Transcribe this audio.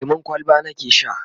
lemun kwalba nake Sha